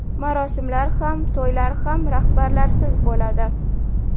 Marosimlar ham, to‘ylar ham rahbarlarsiz bo‘ladi.